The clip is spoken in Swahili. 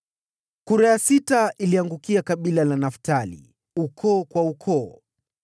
Kura ya sita ikaangukia kabila la Naftali, ukoo kwa ukoo: